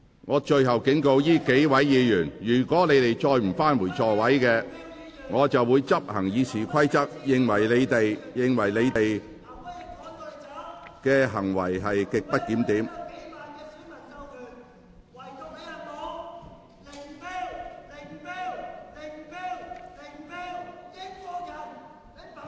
我最後警告這數位議員，如果你們再不返回座位，我會根據《議事規則》裁定你們行為極不檢點。